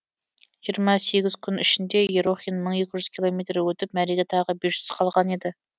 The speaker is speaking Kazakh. жиырма сегіз күн ішінде ерохин мың екі жэүз километр өтіп мәреге тағы бес жүз қалған еді